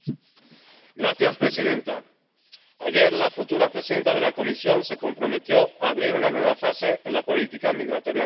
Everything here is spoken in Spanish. Señora presidenta, ayer, la futura presidenta de la Comisión se comprometió a abrir una nueva fase en la política migratoria común.